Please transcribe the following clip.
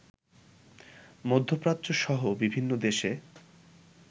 মধ্যপ্রাচ্যসহ বিভিন্ন দেশে